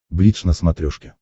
бридж на смотрешке